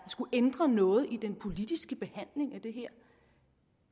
skulle ændre noget i den politiske behandling af det her